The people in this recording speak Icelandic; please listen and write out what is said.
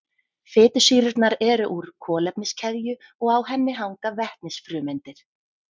Fitusýrurnar eru úr kolefniskeðju og á henni hanga vetnisfrumeindir.